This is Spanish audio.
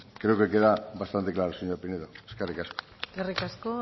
creo que queda bastante claro señor pinedo eskerrik asko eskerrik asko